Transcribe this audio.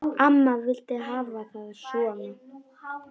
Amma vildi hafa það svona.